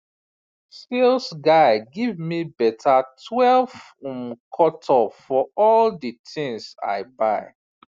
sales guy give me better twelve um cut off for all the things i buy